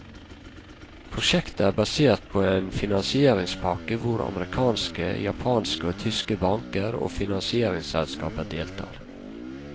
Prosjektet er basert på en finanisieringspakke hvor amerikanske, japanske og tyske banker og finaniseringsselskaper deltar.